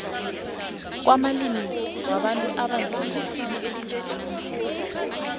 kwamalimi wabantu abanzima